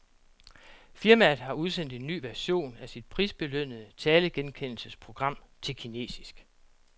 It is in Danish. Firmaet har udsendt en ny version af sit prisbelønnede talegenkendelsesprogram til kinesisk.